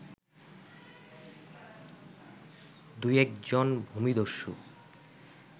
দুয়েক জন ভূমিদস্যু